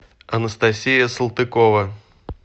анастасия салтыкова